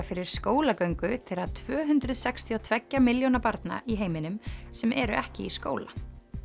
fyrir skólagöngu þeirra tvö hundruð sextíu og tveggja milljóna barna í heiminum sem eru ekki í skóla